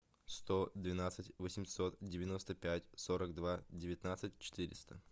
сто двенадцать восемьсот девяносто пять сорок два девятнадцать четыреста